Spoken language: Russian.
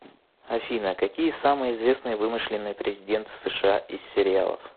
афина какие самые известные вымышленные президенты сша из сериалов